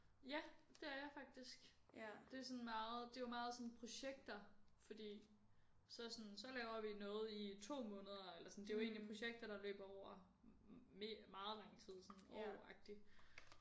Ja det er jeg faktisk det er sådan meget det er jo meget sådan projekter fordi så sådan så laver vi noget i 2 måneder eller sådan det er jo egentlig projekter der løber over mere meget lang tid sådan år agtig